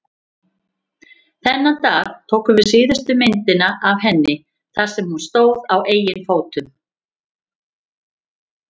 Þennan dag tókum við síðustu myndina af henni þar sem hún stóð á eigin fótum.